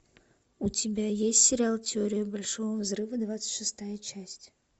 у тебя есть сериал теория большого взрыва двадцать шестая часть